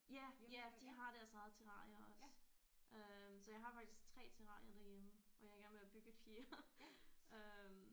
Ja ja de har deres eget terrarie også øh så jeg har faktisk 3 terrarier derhjemme og jeg er i gang med at bygge et fjerde øh